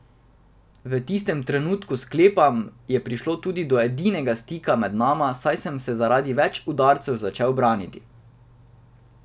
V tistem trenutku, sklepam, je prišlo tudi do edinega stika med nama, saj sem se zaradi več udarcev začel braniti.